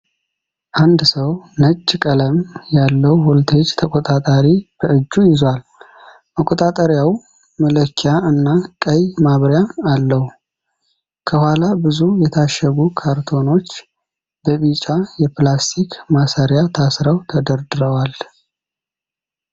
አንድ ሰው ነጭ ቀለም ያለው ቮልቴጅ ተቆጣጣሪ በእጁ ይዟል። መቆጣጠሪያው መለኪያ እና ቀይ ማብሪያ አለው። ከኋላ ብዙ የታሸጉ ካርቶኖች በቢጫ የፕላስቲክ ማሰሪያ ታስረው ተደርድረዋል።